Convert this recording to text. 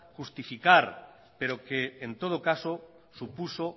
justificar pero que en todo caso supuso